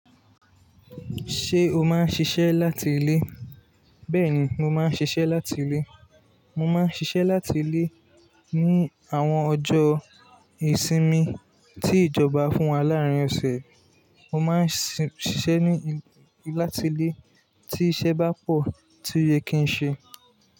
Ṣé o máa ń ṣiṣẹ́ láti ilé? Bẹ́ẹ̀ni, mo máa ń ṣiṣẹ́ láti ilé. Mo máa ń ṣiṣẹ́ láti ilé ní àwọn ọjọ́ ìsinmi tí ìjọba fún wa láàárín ọ̀sẹ̀. Mo máa ń ṣiṣẹ́ ní láti ilé tí iṣẹ́ bá pọ̀ tí ó ye kí n ṣe.